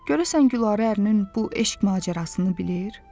Görəsən Gülarə ərinin bu eşq macərasını bilir?